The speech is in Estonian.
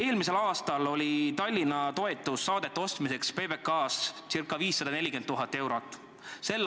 Eelmisel aastal oli Tallinna toetus saadete ostmiseks PBK-s ca 540 000 eurot.